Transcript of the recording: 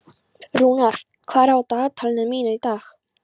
Rúnar, hvað er á dagatalinu mínu í dag?